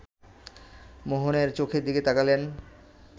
মোহনের চোখের দিকে তাকালেন